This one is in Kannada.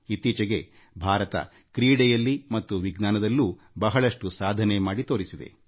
ಇತ್ತೀಚೆಗೆಭಾರತ ಕ್ರೀಡೆಯಲ್ಲಿ ಮತ್ತು ವಿಜ್ಞಾನದಲ್ಲೂ ಬಹಳಷ್ಟು ಸಾಧನೆ ಮಾಡಿ ತೋರಿಸಿದೆ